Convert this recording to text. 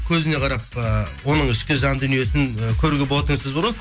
көзіне қарап ыыы оның ішкі жан дүниесін ы көруге болады деген сөз бар ғой